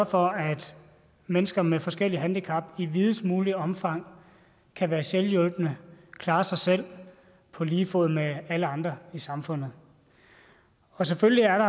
for at mennesker med forskellige handicap i videst muligt omfang kan være selvhjulpne og klare sig selv på lige fod med alle andre i samfundet selvfølgelig er